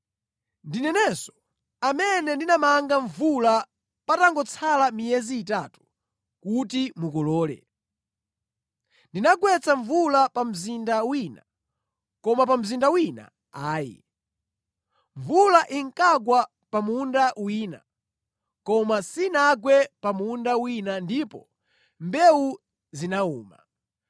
“Ndinenso amene ndinamanga mvula patangotsala miyezi itatu kuti mukolole. Ndinagwetsa mvula pa mzinda wina, koma pa mzinda wina ayi, mvula inkagwa pa munda wina; koma sinagwe pa munda wina ndipo mbewu zinawuma.